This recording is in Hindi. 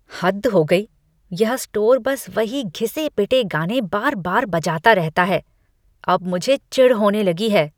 हद हो गई! यह स्टोर बस वही घिसे पिटे गाने बार बार बजाता रहता है। अब मुझे चिढ़ होने लगी है।